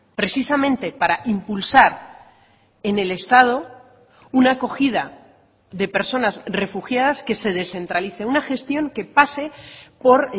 precisamente para impulsar en el estado una acogida de personas refugiadas que se descentralice una gestión que pase por